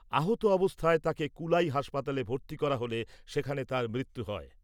আহত অবস্থায় তাকে কুলাই হাসপাতালে ভর্তি করা হলে সেখানে তার মৃত্যু হয়।